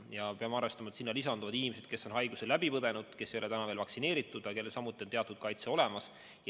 Ja peame arvestama, et sinna lisanduvad inimesed, kes on haiguse läbi põdenud, kes ei ole täna veel vaktsineeritud, aga kellel samuti on teatud kaitse olemas.